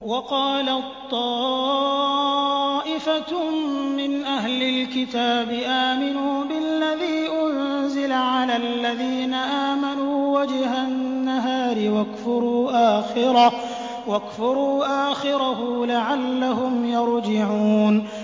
وَقَالَت طَّائِفَةٌ مِّنْ أَهْلِ الْكِتَابِ آمِنُوا بِالَّذِي أُنزِلَ عَلَى الَّذِينَ آمَنُوا وَجْهَ النَّهَارِ وَاكْفُرُوا آخِرَهُ لَعَلَّهُمْ يَرْجِعُونَ